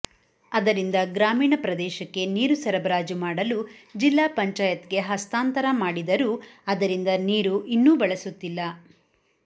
ಅದರಿಂದ ಗ್ರಾಮೀಣ ಪ್ರದೇಶಕ್ಕೆ ನೀರು ಸರಬರಾಜು ಮಾಡಲು ಜಿಲ್ಲಾ ಪಂಚಾಯತ್ಗೆ ಹಸ್ತಾಂತರ ಮಾಡಿದರೂ ಅದರಿಂದ ನೀರು ಇನ್ನೂ ಬಳಸುತ್ತಿಲ್ಲ